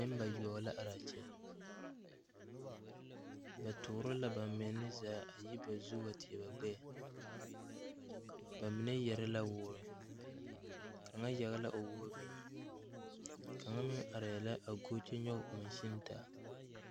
Nenbayoɔ la are a kyɛ ba toore la ba menne zaa a yi ba zu wa teɛ ba gbɛɛ ba mine yɛre la woore kaŋa yage la o woɔ biŋ kaŋa mrŋ arɛɛ la a go kyɛ nyɔge monsuni taa.